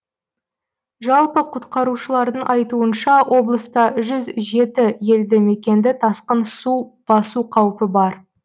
жалпы құтқарушылардың айтуынша облыста жүз жеті елді мекенді тасқын су басу қаупі бар